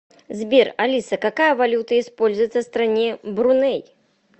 сбер алиса какая валюта используется в стране бруней